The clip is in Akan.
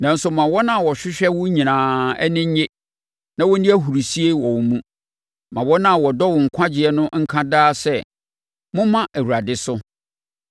Nanso ma wɔn a wɔhwehwɛ wo nyinaa ani nnye na wɔnni ahurisie wɔ wo mu; ma wɔn a wɔdɔ wo nkwagyeɛ no nka daa sɛ, “Momma Awurade so!”